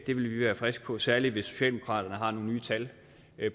vi være friske på særlig hvis socialdemokratiet har nogle nye tal